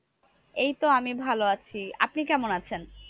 এইতো আমি ভালো। আছি আপনি কেমন আছেন?